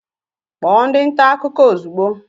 Kpọọ ndị nta akụkọ ozugbo